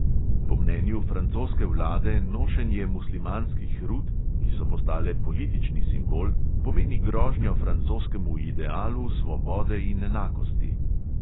Po mnenju francoske vlade nošenje muslimanskih rut, ki so postale politični simbol, pomeni grožnjo francoskemu idealu svobode in enakosti.